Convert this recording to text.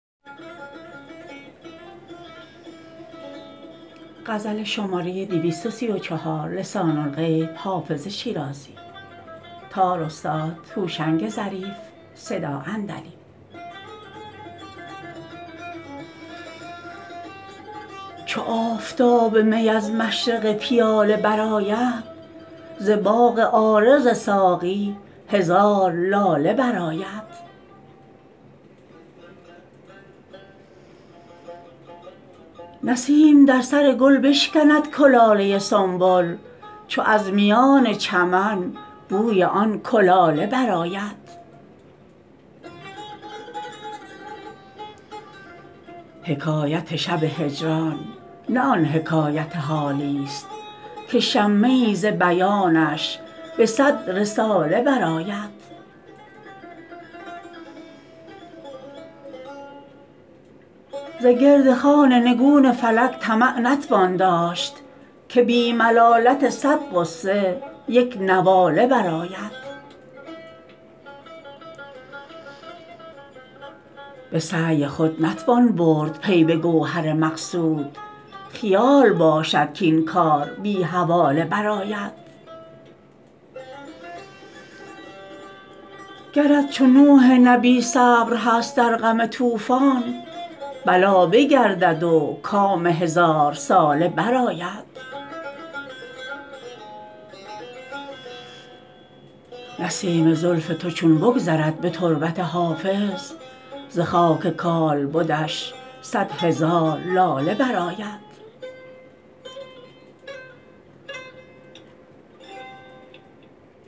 چو آفتاب می از مشرق پیاله برآید ز باغ عارض ساقی هزار لاله برآید نسیم در سر گل بشکند کلاله سنبل چو از میان چمن بوی آن کلاله برآید حکایت شب هجران نه آن حکایت حالیست که شمه ای ز بیانش به صد رساله برآید ز گرد خوان نگون فلک طمع نتوان داشت که بی ملالت صد غصه یک نواله برآید به سعی خود نتوان برد پی به گوهر مقصود خیال باشد کاین کار بی حواله برآید گرت چو نوح نبی صبر هست در غم طوفان بلا بگردد و کام هزارساله برآید نسیم زلف تو چون بگذرد به تربت حافظ ز خاک کالبدش صد هزار لاله برآید